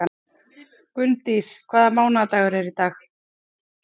Gunndís, hvaða mánaðardagur er í dag?